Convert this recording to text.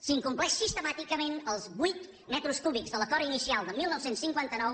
s’incompleixen sistemàticament els vuit metres cúbics de l’acord inicial de dinou cinquanta nou